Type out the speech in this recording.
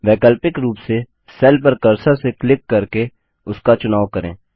वैकल्पिक रूप से सेल पर कर्सर से क्लिक करके उसका चुनाव करें